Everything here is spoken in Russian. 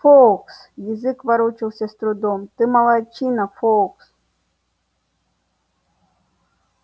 фоукс язык ворочался с трудом ты молодчина фоукс